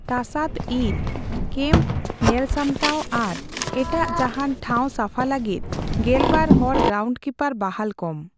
ᱛᱟᱥᱟᱫ ᱤᱨ, ᱠᱮᱢᱯ ᱧᱮᱞᱥᱟᱢᱴᱟᱣ ᱟᱨ ᱮᱴᱟᱜ ᱡᱟᱦᱟᱸᱱ ᱴᱷᱟᱣ ᱥᱟᱯᱷᱟ ᱞᱟᱜᱤᱫ ᱜᱮᱞᱵᱟᱨ ᱦᱚᱲ ᱜᱨᱟᱣᱩᱱᱰᱠᱤᱯᱟᱨ ᱵᱟᱦᱟᱞ ᱠᱚᱢ ᱾